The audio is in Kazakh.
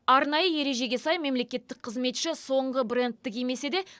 арнайы ережеге сай мемлекеттік қызметші соңғы брэндті кимесе де